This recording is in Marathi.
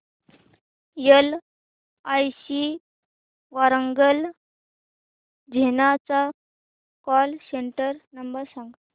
एलआयसी वारांगल झोन चा कॉल सेंटर नंबर सांग